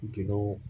Jɛgɛw